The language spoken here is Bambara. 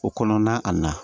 O kɔnɔna a na